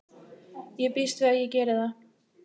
Ég býst við að ég geri það.